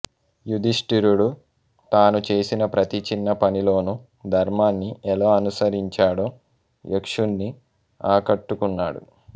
యుధిష్ఠిరుడు తాను చేసిన ప్రతి చిన్న పనిలోనూ ధర్మాన్ని ఎలా అనుసరించాడో యక్షున్ని ఆకట్టుకున్నాడు